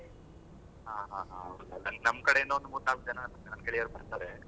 ಹಾ ಹಾ ಹಾ, ನಮ್ಮ ಕಡೆಯಿಂದ ಒಂದು ಮೂರ್ ನಾಲ್ಕ್ ಜನ ನನ್ನ ಗೆಳೆಯರ ಬರ್ತರೆ